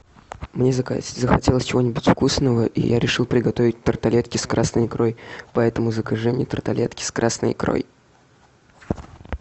мне захотелось чего нибудь вкусного и я решил приготовить тарталетки с красной икрой поэтому закажи мне тарталетки с красной икрой